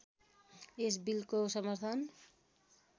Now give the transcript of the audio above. यस बिलको समर्थन